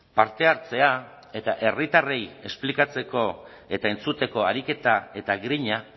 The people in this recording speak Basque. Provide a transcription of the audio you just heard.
parte hartzea eta herritarrei esplikatzeko eta entzuteko ariketa eta grina